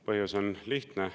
Põhjus on lihtne.